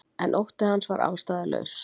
En ótti hans var ástæðulaus.